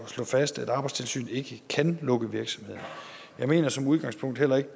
at slå fast at arbejdstilsynet ikke kan lukke virksomheden jeg mener som udgangspunkt heller ikke